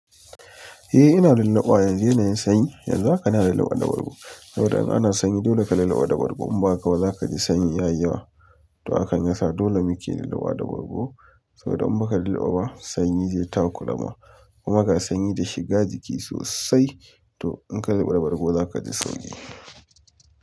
Eh ina lillaɓawa yanzu ina yin sanyi, yanzu haka ina da lillaba da bargo saboda in ana sanyi dole ka yi lillaba da bargo in ba haka ba za ka ji sanyi ya yi yawa. To hakan ya sa dole muke lillaba da bargo saboda in ba ka lilo ba sanyi zai takura ma kuma ga sanyi da shiga jiki sosai to in ka lillaba bargo za ka ji sauki.